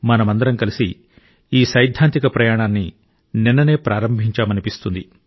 మనమందరం కలిసి ఈ సైద్ధాంతిక ప్రయాణాన్ని నిన్ననే ప్రారంభించామనిపిస్తుంది